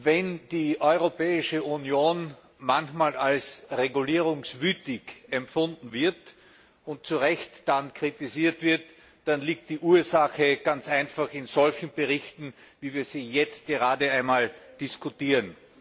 Wenn die Europäische Union manchmal als regulierungswütig empfunden und dann zu Recht kritisiert wird, liegt die Ursache ganz einfach in solchen Berichten, wie wir sie jetzt gerade diskutieren.